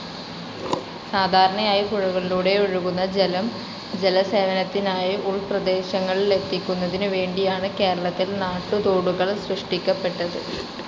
സാധാരണയായി പുഴകളിലൂടോഴുകുന്ന ജലം ജലസേവനത്തിനായി ഉൾപ്രദേശങ്ങളിലെത്തിക്കുന്നതിനുവേണ്ടിയാണ് കേരളത്തിൽ നാട്ടുതോടുകൾ സൃഷ്ടിക്കപ്പെട്ടത്.